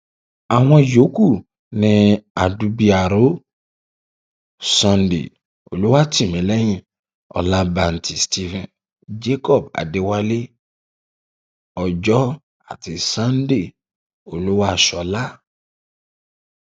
àwọn yòókù ni àdúbìàrọ sunday olùwátìmílẹyìn ọlàǹbìtì stephen jacob adéwálé ọjọ àti sunday olúwaṣọlá